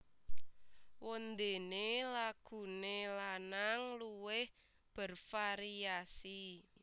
Wondene lagune lanang luwih bervariasi